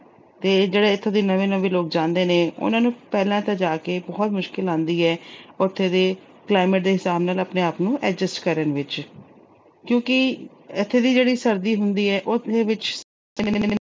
ਤੇ ਜਿਹੜੇ ਇੱਥੋਂ ਦੇ ਨਵੇਂ-ਨਵੇਂ ਲੋਕ ਜਾਂਦੇ ਨੇ, ਉਹਨਾਂ ਨੂੰ ਜਾ ਕੇ ਪਹਿਲਾ ਤਾਂ ਬਹੁਤ ਮੁਸ਼ਕਲ ਆਉਂਦੀ ਏ, ਉਥੋਂ ਦੇ climate ਦੇ ਹਿਸਾਬ ਨਾਲ ਆਪਣੇ-ਆਪ ਨੂੰ adjust ਕਰਨ ਵਿੱਚ ਕਿਉਂਕਿ ਇਥੇ ਦੀ ਜਿਹੜੀ ਸਰਦੀ ਹੁੰਦੀ ਏ, ਉਹਦੇ ਵਿੱਚ